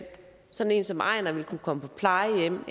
sådan en som einar vil kunne komme på plejehjem